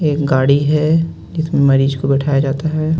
एक गाड़ी है इसमें मरीज को बैठाया जाता है.